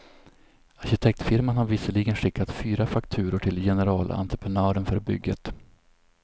Arkitektfirman har visserligen skickat fyra fakturor till generalentreprenören för bygget.